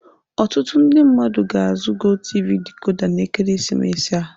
Ọtụtụ ndị mmadụ ga-azụ GOTV dikoda n'ekeresimesi a.